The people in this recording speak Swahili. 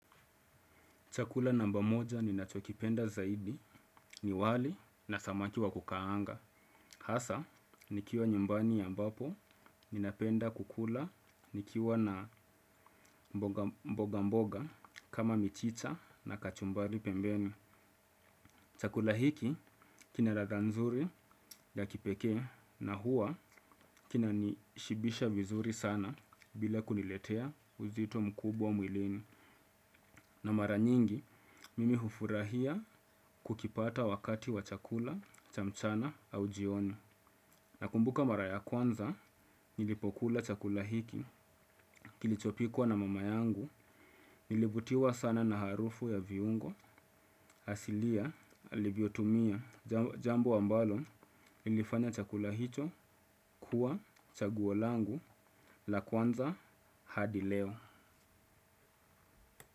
Chakula namba moja ninachokipenda zaidi ni wali na samaki wa kukaanga. Hasa nikiwa nyumbani ambapo ninapenda kukula nikiwa na mboga mboga kama michicha na kachumbari pembeni. Chakula hiki kina ladha nzuri ya kipekee na huwa kinanishibisha vizuri sana bila kuniletea uzito mkubwa mwilini. Na mara nyingi mimi hufurahia kukipata wakati wa chakula cha mchana au jioni. Nakumbuka mara ya kwanza nilipokula chakula hiki, kilichopikwa na mama yangu, nilivutiwa sana na harufu ya viungo asilia alivyotumia, jambo ambalo lilifanya chakula hicho kuwa chaguo langu la kwanza hadi leo.